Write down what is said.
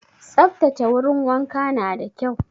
Saftace wurin wanka na da kyau